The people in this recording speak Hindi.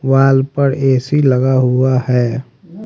वॉल पर ए_सी लगा हुआ है।